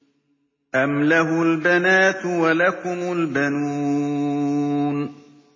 أَمْ لَهُ الْبَنَاتُ وَلَكُمُ الْبَنُونَ